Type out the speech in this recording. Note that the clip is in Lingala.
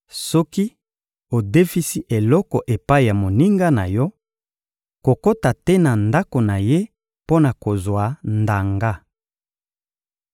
Soki odefisi eloko epai ya moninga na yo, kokota te na ndako na ye mpo na kozwa ndanga.